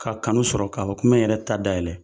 K'a kanu sɔrɔ, k'a fɔ k'o me n yɛrɛ ta dayɛlɛ.